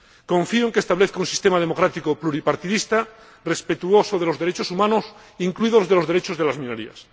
Confío en que establezca un sistema democrático pluripartidista, respetuoso de los derechos humanos, incluidos los derechos de las minorías.